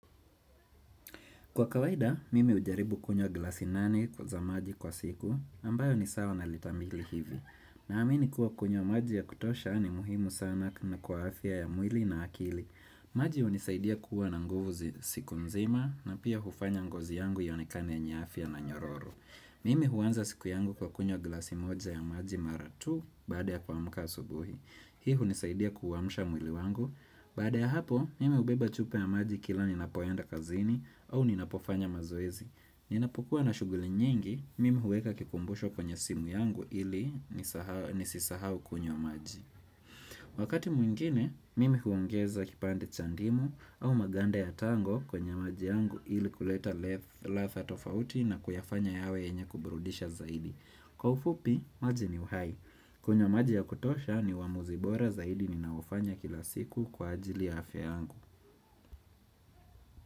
Kwa kawaida, mimi ujaribu kunyowa glasi nane kwa za maji kwa siku, ambayo ni sawa na litamili hivi. Na amini kuwa kunywa maji ya kutosha ni muhimu sana na kwa afya ya mwili na akili. Maji unisaidia kuwa na nguvu siku mzima na pia hufanya ngozi yangu yonikane yenye afya na nyororo. Mimi huanza siku yangu kwa kunywa glasi moja ya maji maratu baada ya kwa muka asubuhi. Hii unisaidia kuwamsha mwili wangu. Bada ya hapo, mimi ubeba chupa ya maji kila ninapoenda kazini au ninapofanya mazoezi. Ninapukua na shuguli nyingi, mimi huweka kikumbusho kwenye simu yangu ili nisisahau kunywa maji. Wakati mwingine, mimi huongeza kipande cha ndimu au maganda ya tango kwenye maji yangu ili kuleta ladha tofauti na kuyafanya yawe yenye kuburudisha zaidi. Kwa ufupi, maji ni uhai. Kunyowa maji ya kutosha ni uamuzi bora zaidi ni naofanya kila siku kwa ajili ya afya yangu.